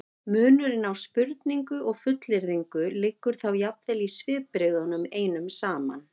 munurinn á spurningu og fullyrðingu liggur þá jafnvel í svipbrigðunum einum saman